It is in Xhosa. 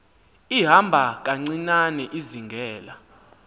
ihamba kancinane izingela